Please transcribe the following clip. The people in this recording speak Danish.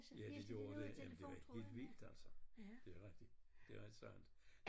Ja det gjorde de jamen det var helt vildt altså det rigtigt det er sandt